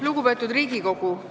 Lugupeetud Riigikogu!